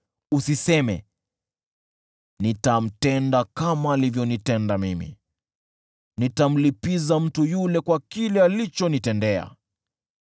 Usiseme, “Nitamtenda kama alivyonitenda mimi; nitamlipiza mtu yule kwa kile alichonitendea.”